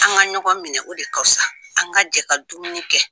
An ka ɲɔgɔn minɛ o de ka fusa an ka jɛ ka dumuni kɛ.